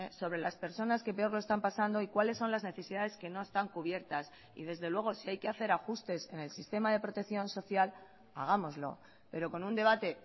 sobre las personas que peor lo están pasando y cuáles son las necesidades que no están cubiertas y desde luego si hay que hacer ajustes en el sistema de protección social hagámoslo pero con un debate